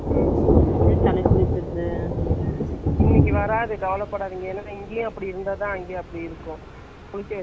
அப்படி பார்த்தா நேத்தும் நான்னு, ம்ம் என் தம்பிகிட்ட பேசும் போது அதான் சொன்னா, அங்க அப்படி எல்லாம் இல்ல சொன்னான் ஆனால் இங்க நல்லா மழை அப்போ.